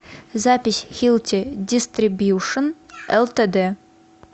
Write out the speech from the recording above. запись хилти дистрибьюшн лтд